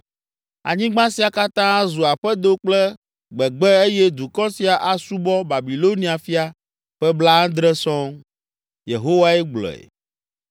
Anyigba sia katã azu aƒedo kple gbegbe eye dukɔ sia asubɔ Babilonia fia ƒe blaadre sɔŋ” Yehowae gblɔe.